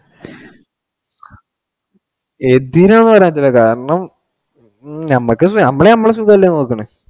എത്തിന്ന് പറയാൻ പറ്റൂല്ല കാരണം ഞമ്മക്ക് ഞമ്മള് ഞമ്മടെ സുഖം അല്ലെ നോക്കണേ.